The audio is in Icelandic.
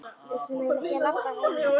Við getum eiginlega ekki labbað heim, Arnar.